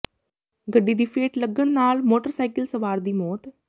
ਗੱਡੀ ਦੀ ਫੇਟ ਲੱਗਣ ਨਾਲ ਮੋਟਰਸਾਈਕਲ ਸਵਾਰ ਦੀ ਮੌਤ